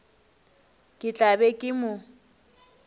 ke tla be ke mo